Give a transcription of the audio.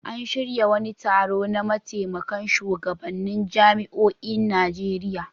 An shirya wani taro na mataimakan shugabannin jami'oin Najeriya.